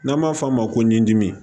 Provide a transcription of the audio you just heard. N'an b'a f'a ma ko n dimi